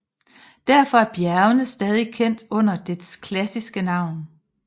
Derfor er bjergene stadig kendt under dets klassiske navn